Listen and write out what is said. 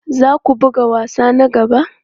Za ka buga wasa na gaba?